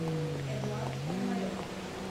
эдуард пономарев